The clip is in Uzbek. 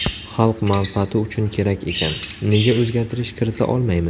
Xalq manfaati uchun kerak ekan, nega o‘zgartirish kirita olmaymiz?